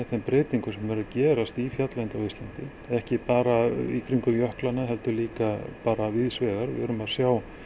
þær breytingar sem eru að gerast í fjalllendi á Íslandi ekki bara í kringum jöklana heldur líka bara víðs vegar við erum að sjá